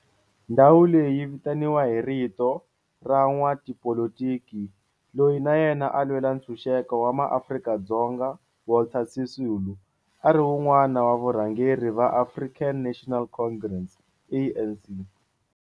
Ndhawu leyi vitaniwa hi vito ra n'watipolitiki loyi na yena a lwela ntshuxeko wa maAfrika-Dzonga Walter Sisulu, a ri wun'wana wa varhangeri va African National Congress, ANC.